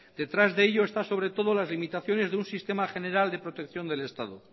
detrás de ello están sobre todo las limitaciones de un sistema general de protección del estado